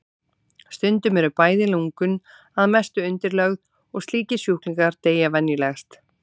Stundum eru bæði lungun að mestu undirlögð og slíkir sjúklingar deyja venjulegast.